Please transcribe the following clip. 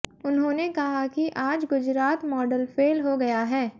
उन्होंने कहा कि आज गुजरात मॉडल फेल हो गया है